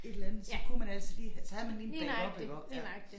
Et eller andet så kunne man altid lige have så havde man lige en backup iggå ja